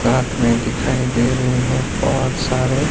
साथ मे दिखाई दे रहे है बहोत सारे--